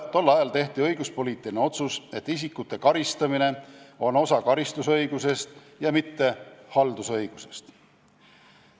Tol ajal tehti õiguspoliitiline otsus, et isikute karistamine on osa karistusõigusest ja mitte haldusõigusest.